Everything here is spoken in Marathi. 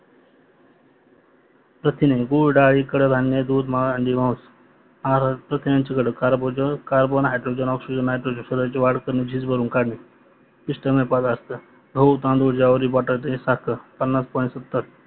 प्रथिने गुड, डाळी, कडधान्य, दूध, अंडी, मास, प्रथिन्याचे घटक कार्बन, हायड्रोजन, ऑक्सिजन, नायट्रोजन, स्वताची वाळ करणे झीज भरून काळणे पिष्टमय प्रदार्थ गहू तांदुड ज्वारी बटाटे साखर